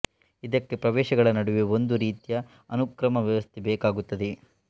ಇದಕ್ಕೆ ಪ್ರವೇಶಗಳ ನಡುವೆ ಒಂದು ರೀತಿಯ ಅನುಕ್ರಮದ ವ್ಯವಸ್ಥೆ ಬೇಕಾಗುತ್ತದೆ